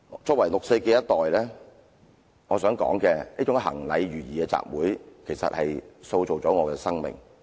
作為六四的一代，我想說這種行禮如儀的集會其實塑造了我的生命。